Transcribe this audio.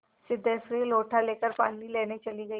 सिद्धेश्वरी लोटा लेकर पानी लेने चली गई